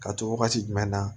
Ka to wagati jumɛn na